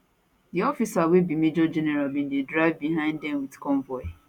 di officer wey be major general bin dey drive behind dem wit convoy